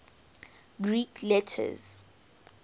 greek letters